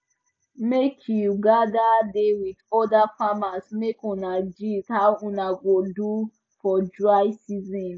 make you gather da with other farmers make una gist how una go do for dry season